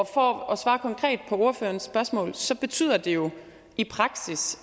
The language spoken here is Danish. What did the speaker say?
for at svare konkret på ordførerens spørgsmål så betyder det jo i praksis